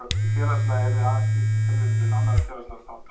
Hið félagslega yrði aðeins skýrt með tilvísan til annarra félagslegra þátta.